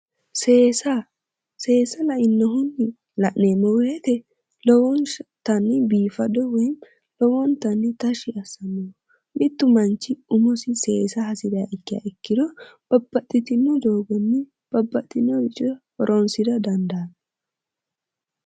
Seesa. Seesa lainnohunni la'neemmo woyite lowontanni biifado woyi lowontanni tashshi assanno. Mittu manchi umosi seesa hasiriha ikkiha ikkiro babbaxxitino doogonni babbaxxinoricho horoonsira dandaanno.